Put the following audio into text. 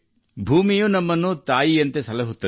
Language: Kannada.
ಭೂಮಿಯೂ ನಮಗೆ ತಾಯಿ ಇದ್ದಂತೆ